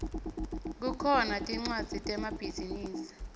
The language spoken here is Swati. kukhona tmcwadzi temabhizinisi